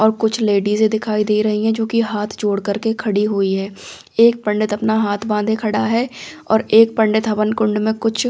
और कुछ लेडीज दिखाई दे रही है जो कि हाथ जोड़ कर के खड़ी हुई है एक पंडित अपना हाथ बांधे खड़ा है और एक पंडित हवन कुंड में कुछ--